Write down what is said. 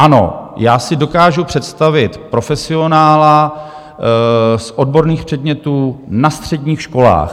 Ano, já si dokážu představit profesionála z odborných předmětů na středních školách.